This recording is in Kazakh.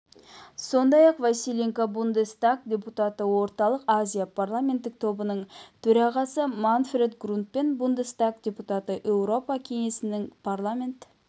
сондай-ақ василенко бундестаг депутаты орталық азия парламенттік тобының төрағасы манфред грундпен бундестаг депутаты еуропа кеңесінің парламент